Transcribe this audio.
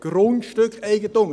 Grundstückeigentum!